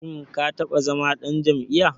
Shim ka taɓa zama ɗan jam'iyya?